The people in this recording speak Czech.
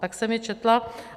Tak jsem je četla.